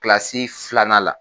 Kilasi filanan la.